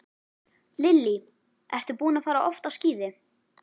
Lillý: Ertu búinn að fara oft á skíði?